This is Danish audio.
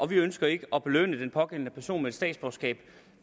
vi ønsker ikke at belønne den pågældende person med et statsborgerskab